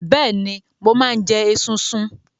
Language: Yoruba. Bẹ́ẹ̀ni, mo máa ń jẹ esunsun.